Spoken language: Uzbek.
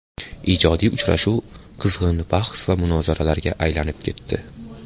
Ijodiy uchrashuv qizg‘in bahs va munozaraga aylanib ketdi.